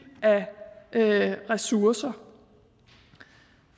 af ressourcer